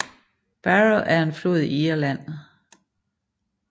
Barrow er en flod i Irland